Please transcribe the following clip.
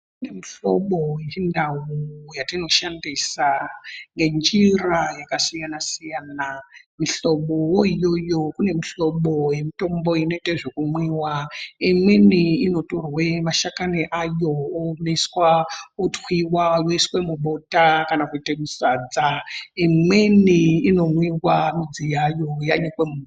Kune mihlobo yechindau yatinoshandisa ngenjira dzakasiyanasiyana ,mihlobo yoiyoyo kune mihlobo yemitombo inotwe zvekumwiwa ,imweni inotorwe mashakani ayo oomeswa otwiwa oiswe mubota kana kuite musadza ,imweni inomwiwa midzi yayo yanyikwe mumvura.